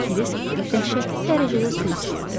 Krisk dəhşətli dərəcədə su istəyirdi.